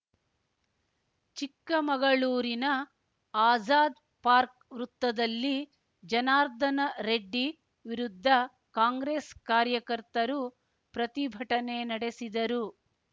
ಚಿಕ್ಕಮಗಳೂರಿನ ಆಜಾದ್‌ ಪಾರ್ಕ್ ವೃತ್ತದಲ್ಲಿ ಜನಾರ್ದನ ರೆಡ್ಡಿ ವಿರುದ್ಧ ಕಾಂಗ್ರೆಸ್‌ ಕಾರ್ಯಕರ್ತರು ಪ್ರತಿಭಟನೆ ನಡೆಸಿದರು